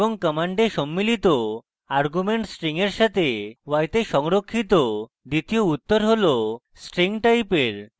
command সম্মিলিত argument string এর সাথে y তে সংরক্ষিত দ্বিতীয় উত্তর হল string টাইপের